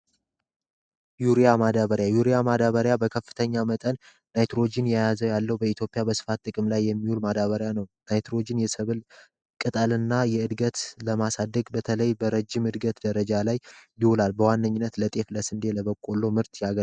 ዩሪያ ማዳበሪያ ዩሪያ ማዳበሪያ ከፍተኛ መጠን ናይትሮጅን ያለው በኢትዮጵያ በስፋት ጥቅም ላይ የሚውል ማዳበሪያ ነው። ናይትሮጅን የሰብል ቅጠል እና የእድገት ለማሳደግ በተለይ በረጅም እድገት ደረጃ ላይ ይውላል። በዋነኝነት ለጤፍ ፣ለስንዴ ፣ለበቆሎ ምርት ያገለግላል።